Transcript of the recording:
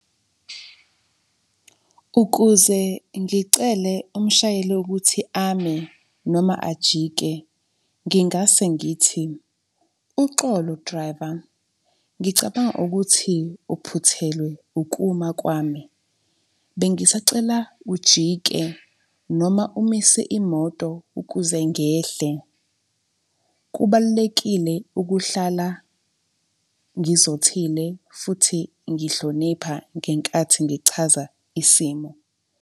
Ukuze ngicele umshayeli ukuthi ame noma ajike ngingase ngithi, uxolo driver, ngicabanga ukuthi uphuthelwe ukuma kwami. Bengisacela ujike noma umise imoto ukuze ngehle. Kubalulekile ukuhlala ngizothile futhi ngihlonipha ngenkathi ngichaza isimo.